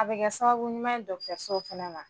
A bi kɛ sababu ɲuman ye dɔkɔtɔsow fɛnɛ ma